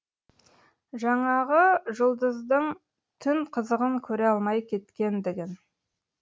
жаңағы жұлдыздың түн қызығын көре алмай кеткендігін